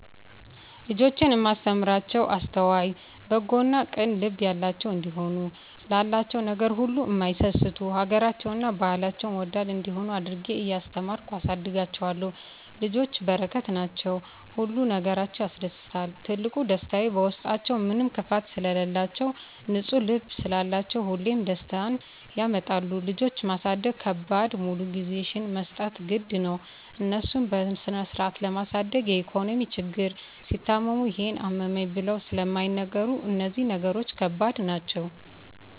ልጆቼን እማስተምራቸዉ አስተዋይ፣ በጎ እና ቅን ልብ ያላቸዉ እንዲሆኑ፣ ላላቸዉ ነገር ሁሉ እማይሳስቱ፣ ሀገራቸዉን እና ባህላቸዉን ወዳድ እንዲሆነ አድርጌ እያስተማርኩ አሳድጋቸዋለሁ። ልጆች በረከት ናቸዉ። ሁሉ ነገራቸዉ ያስደስታል ትልቁ ደስታየ በዉስጣችዉ ምንም ክፋት ስለላቸዉ፣ ንፁ ልብ ስላላቸዉ ሁሌም ደስታን ያመጣሉ። ልጆች ማሳደግ ከባዱ ሙሉ ጊዜሽን መስጠት ግድ ነዉ፣ እነሱን በስነስርአት ለማሳደግ የኢኮኖሚ ችግር፣ ሲታመሙ ይሄን አመመኝ ብለዉ ስለማይናገሩ እነዚህ ነገሮች ከባድ ናቸዉ።